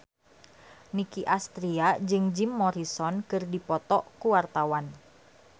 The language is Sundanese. Nicky Astria jeung Jim Morrison keur dipoto ku wartawan